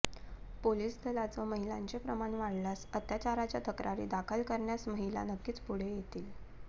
police दलाच महिलांचे प्रमाण वाढल्यास अत्याचाराच्या तक्रारी दाखल कऱण्यास महिला नक्कीच पुढे येतील